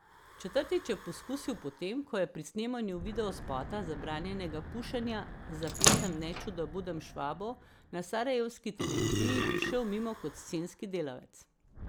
Četrtič je poskusil po tem, ko je pri snemanju videospota Zabranjenega pušenja za pesem Neču da budem Švabo na sarajevski televiziji prišel mimo kot scenski delavec.